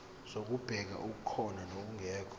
zokubheka okukhona nokungekho